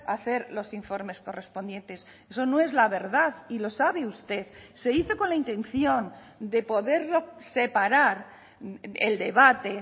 hacer los informes correspondientes eso no es la verdad y lo sabe usted se hizo con la intención de poderlo separar el debate